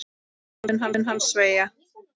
Létt mun hann að sverja.